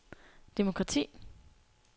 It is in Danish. demokrati